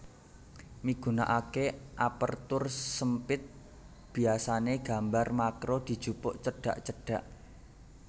Migunakaké Aperture SempitBiasané gambar makro dijupuk cedhak cedhak